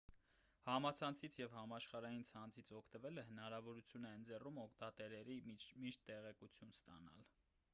համացանցից և համաշխարհային ցանցից օգտվելը հնարավորություն է ընձեռում օգտատերերին միշտ տեղեկություն ստանալ